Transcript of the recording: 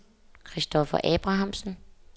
Kristoffer Abrahamsen